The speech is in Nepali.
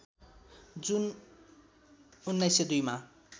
जुन १९०२ मा